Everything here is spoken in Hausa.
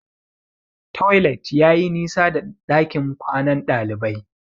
Toilet yayi nisa da dakin kwanan dalibai.